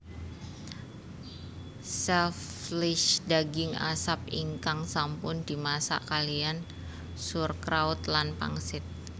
Selchfleisch daging asap ingkang sampun dimasak kaliyan Sauerkraut lan pangsit